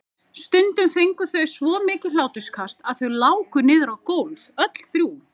Stundum fengu þau svo mikið hláturskast að þau láku niður á gólf öll þrjú.